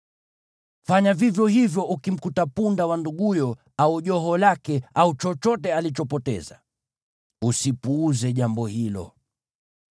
Fanya vivyo hivyo ukimkuta punda wa nduguyo au joho lake au chochote alichopoteza. Usipuuze jambo hilo.